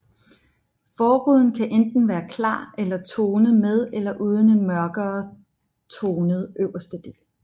Forruden kan enten være klar eller tonet med eller uden en mørkere tonet øverste del